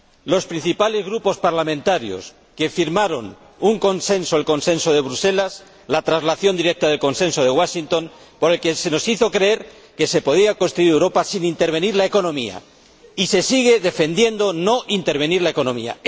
Los principales Grupos parlamentarios, que firmaron un consenso, el Consenso de Bruselas, la traslación directa del Consenso de Washington, por el que se nos hizo creer que se podía construir Europa sin intervenir la economía y se sigue defendiendo no intervenir la economía.